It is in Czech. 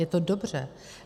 Je to dobře.